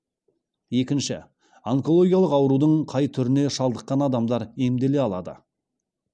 екінші онкологиялық аурудың қай түріне шалдыққан адамдар емделе алады